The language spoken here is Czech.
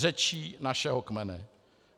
Řečí našeho kmene.